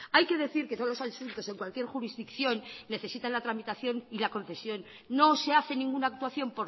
hay que decir que todos los asuntos en cualquier jurisdicción necesitan la tramitación y la concesión no se hace ninguna actuación